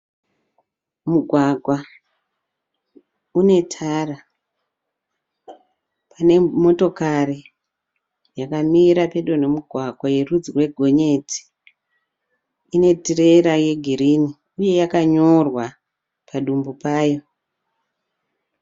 Mugwagwa une Tara une motokari yakamira pedo ne mugwagwa yerudzi rwegonyeti inetirera yegirini uye yakanyorwa padumbu payo